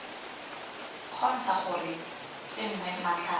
kgontsha gore go tsenngwe matlhare